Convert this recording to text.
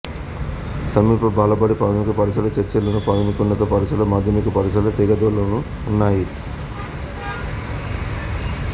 సమీప బాలబడి ప్రాథమిక పాఠశాల చర్లలోను ప్రాథమికోన్నత పాఠశాల మాధ్యమిక పాఠశాల తేగదలోనూ ఉన్నాయి